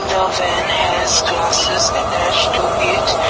the van has glasses attached to it.